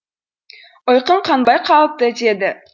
ұйқым қанбай қалыпты деді